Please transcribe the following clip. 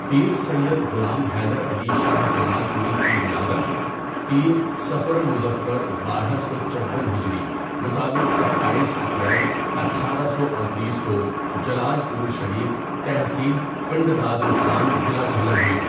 پیر سیّد غلام حیدر علی شاہ جلالپوری کی ولادت تین صفر المظفر بارہ سو چوون ہجری مطابق ستایس اپریل اٹھارہ سو اڈتیس کو جلالپور شریف تحصیل پنڈ دادنخان ضلع جہلم ہوئی.